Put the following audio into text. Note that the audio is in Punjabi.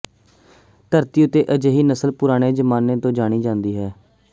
ਧਰਤੀ ਉੱਤੇ ਅਜਿਹੀ ਨਸਲ ਪੁਰਾਣੇ ਜ਼ਮਾਨੇ ਤੋਂ ਜਾਣੀ ਜਾਂਦੀ ਹੈ